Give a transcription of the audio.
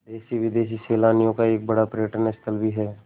देशी विदेशी सैलानियों का एक बड़ा पर्यटन स्थल भी है